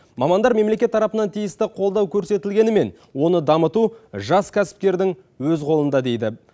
мамандар мемлекет тарапынан тиісті қолдау көрсетілгенімен оны дамыту жас кәсіпкердің өз қолында дейді